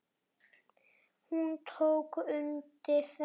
Hún tók undir þetta.